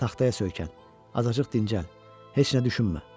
Taxtaya söykən, azacıq dincəl, heç nə düşünmə.